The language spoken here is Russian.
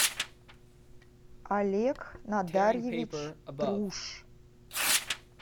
олег надарьевич труш